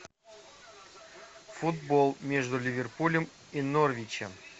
футбол между ливерпулем и норвичем